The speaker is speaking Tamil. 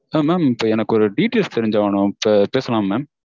ஆஹ் எனக்கு ஒரு details தெரிஞ்சாகனும். இப்போ பேசலாமா mam?